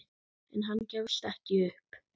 En hann gefst ekki upp.